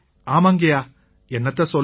ஆமாங்கய்யா என்னத்தை சொல்ல